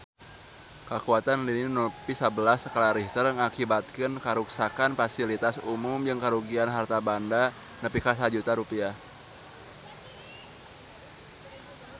Kakuatan lini nu nepi sabelas skala Richter ngakibatkeun karuksakan pasilitas umum jeung karugian harta banda nepi ka 1 juta rupiah